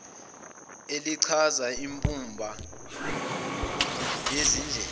elichaza imbumba yezindlela